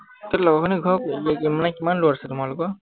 তহঁতৰ লগৰখিনিৰ ঘৰত এৰ মানে কিমান দূৰত আছো মানে তোমালোকৰ?